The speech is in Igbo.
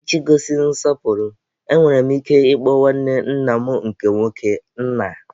Iji gosi nsọpụrụ, enwere m ike ịkpọ nwanne nna m nke nwoke, nna.